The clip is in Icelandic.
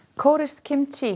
kóreskt